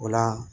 O la